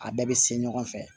A bɛɛ bɛ se ɲɔgɔn fɛ